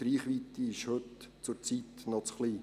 Die Reichweite ist heute noch zu klein.